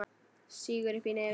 Sýgur upp í nefið.